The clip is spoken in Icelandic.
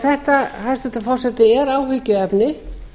þetta hæstvirtur forseti er áhyggjuefni